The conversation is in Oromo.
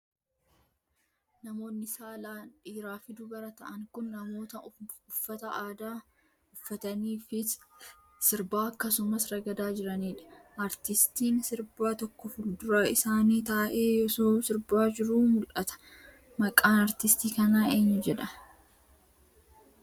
Namoonni saalan dhiiraa fi dubara ta'an kun, namoota uffata aadaa uffatanii fi sirbaa akkasumas ragadaa jiranii dha. Aartistiin sirbaa tokko fuuldura isaanii taa'ee osoo sirbaa jiruu mul'ata. Maqaan aartistii kanaa eenyu jedhama?